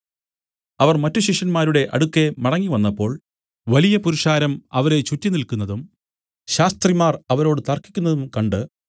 അവർ മറ്റു ശിഷ്യന്മാരുടെ അടുക്കെ മടങ്ങിവന്നപ്പോൾ വലിയ പുരുഷാരം അവരെ ചുറ്റി നില്ക്കുന്നതും ശാസ്ത്രിമാർ അവരോട് തർക്കിക്കുന്നതും കണ്ട്